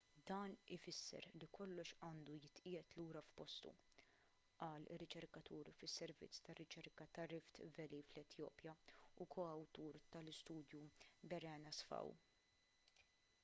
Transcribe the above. dan ifisser li kollox għandu jitqiegħed lura f'postu qal riċerkatur fis-servizz ta' riċerka ta' rift valley fl-etjopja u ko-awtur tal-istudju berhane asfaw